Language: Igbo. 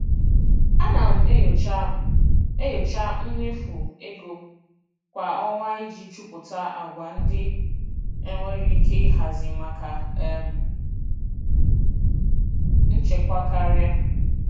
Ana m enyocha m enyocha mmefu ego kwa ọnwa iji chọpụta àgwà ndị enwere ike ịhazi maka um nchekwa karịa.